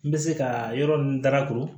N bɛ se ka yɔrɔ min darakuru